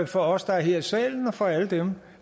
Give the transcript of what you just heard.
for os der er her i salen og for alle dem